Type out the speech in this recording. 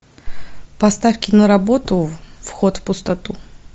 поставь киноработу вход в пустоту